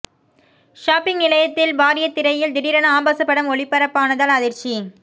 shopping நிலையத்தின் பாரிய திரையில் திடீரென ஆபாச படம் ஒளிபரப்பானதால் அதிர்ச்சி